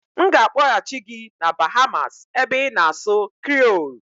M ga-akpọghachị gị na Bahamas ebe ị na-asụ Kriiol